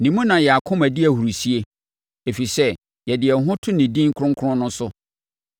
Ne mu na yɛn akoma di ahurisie, ɛfiri sɛ yɛde yɛn ho to ne din kronkron no so.